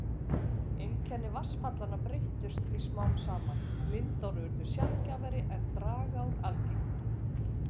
Einkenni vatnsfallanna breyttust því smám saman, lindár urðu sjaldgæfari en dragár algengari.